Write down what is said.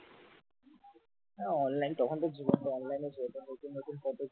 online তখন তো জীবনটা online ছিল নতুন নতুন কত,